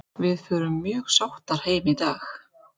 Við förum mjög sáttar heim í dag.